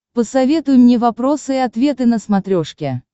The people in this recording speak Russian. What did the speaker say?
посоветуй мне вопросы и ответы на смотрешке